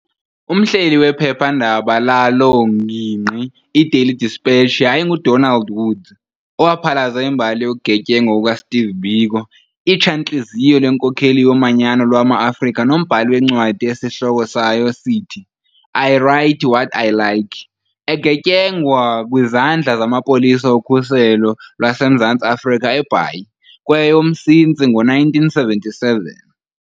Umhleli wephepha-ndaba laloo ngingqi, i"Daily Dispatch", yayinguDonald Woods, owaphalaza imbali yokugetyengwa kukaSteve Biko, itshantlizyo lenkokheli yomanyano lwamaAfrika nombhali wencwadi esihloko sayo sithi "I Write What I Like", egetyengwa ekwizandla zamapolisa okhuselo lwaseMzantsi Afrika eBhayi, kweyomMsintsi ngo-1977.